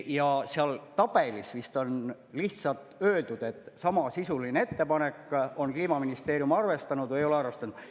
Ja seal tabelis vist on lihtsalt öeldud, et samasisuline ettepanek on ja Kliimaministeerium on arvestanud või ei ole arvestanud.